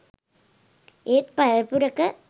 ඒත් පරපුරක